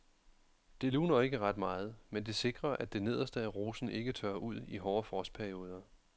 Det luner ikke ret meget, men det sikrer at det nederste af rosen ikke tørrer ud i hårde frostperioder.